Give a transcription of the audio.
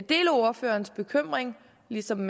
deler ordførerens bekymring ligesom